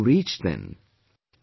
Where will you reach then